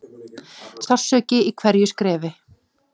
Sársauki í hverju skrefi.